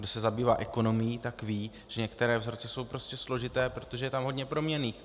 Kdo se zabývá ekonomií, tak ví, že některé vzorce jsou prostě složité, protože je tam hodně proměnných.